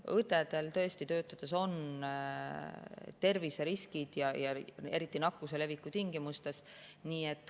Õdedel on töötades tõesti terviseriskid ja eriti nakkuse leviku tingimustes.